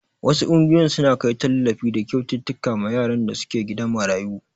Wasu ƙungiyoyin suna kai tallafi da kyaututtuka ma yaran da suke gidan marayu.